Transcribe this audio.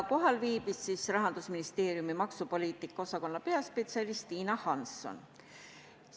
Kohal viibis Rahandusministeeriumi maksupoliitika osakonna peaspetsialist Tiina Hansson.